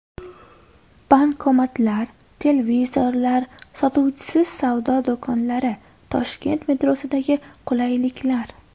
Bankomatlar, televizorlar, sotuvchisiz savdo do‘konlari: Toshkent metrosidagi qulayliklar.